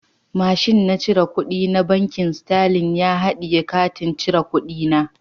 Mashin na cire kudi na bankin"starling " ya hadiye katin cire kudi na.